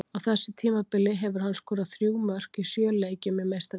Á þessu tímabili hefur hann skorað þrjú mörk í sjö leikjum í Meistaradeildinni.